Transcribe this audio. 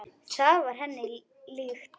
Það var henni líkt.